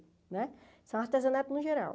Né são artesanatos no geral.